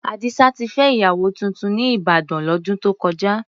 Àdìsá ti fẹ́ ìyàwó tuntun ní Ìbàdàn, lọ́dún tó kọjá.